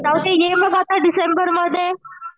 राहूदे ये मग आता डिसेंबरमध्ये